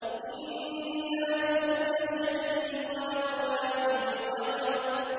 إِنَّا كُلَّ شَيْءٍ خَلَقْنَاهُ بِقَدَرٍ